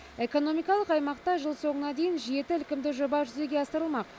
экономикалық аймақта жыл соңына дейін жеті ілкімді жоба жүзеге асырылмақ